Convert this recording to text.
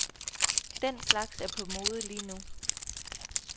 Den slags er på mode lige nu.